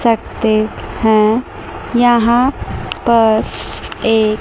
करते हैं यहां पर एक --